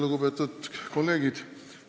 Lugupeetud kolleegid!